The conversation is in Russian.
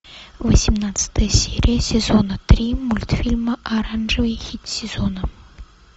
восемнадцатая серия сезона три мультфильма оранжевый хит сезона